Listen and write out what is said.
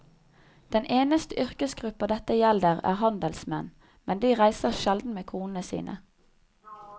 Den eneste yrkesgruppa dette gjelder er handelsmenn, men de reiser sjelden med konene sine.